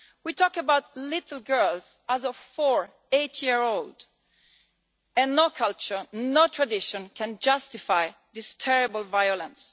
We are talking about little girls as young as four to eight years old. And no culture, no tradition can justify this terrible violence.